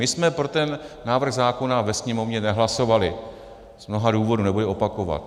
My jsme pro ten návrh zákona ve Sněmovně nehlasovali, z mnoha důvodů, nebudu je opakovat.